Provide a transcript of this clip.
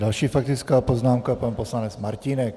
Další faktická poznámka, pan poslanec Martínek.